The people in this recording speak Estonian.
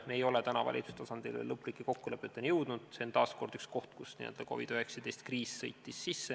Me ei oli valitsuse tasandil praeguseks veel lõplike kokkulepeteni jõudnud, see on taas üks koht, kuhu COVID-19 kriis n-ö sõitis sisse.